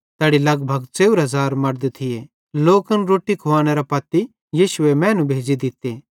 तैड़ी लगभग 4000 मड़द थिये लोकन रोट्टी खुवानेरे पत्ती यीशुए मैनू भेज़ी दित्ते